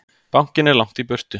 Bankinn er langt í burtu.